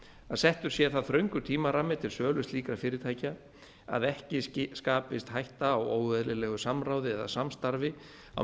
að settur sé það þröngur tímarammi til sölu slíkra fyrirtækja að ekki skapist hætta á óeðlilegu samráði eða samstarfi á